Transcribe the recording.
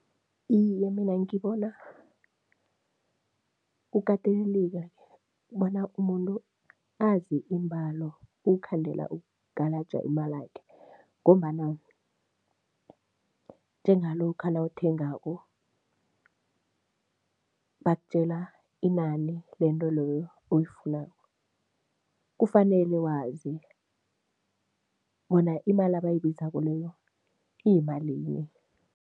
Iye, mina ngibona kukateleleka-ke bona umuntu azi iimbalo ukukhandela ukugalaja imalakhe ngombana njengalokha nawuthengako, bakutjela inani lento loyo oyifunako, kufanele wazi bona imali abayibizako leyo iyimalini.